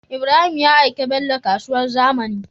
Ibrahim ya aiki bello kasuwar zamani